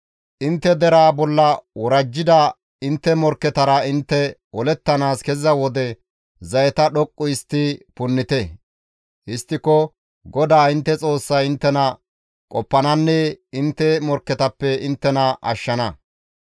«Intte deraa bolla worajjida intte morkketara intte olettanaas keziza wode zayeta dhoqqu histti punnite; histtiko GODAA intte Xoossay inttena qoppananne intte morkketappe inttena ashshana.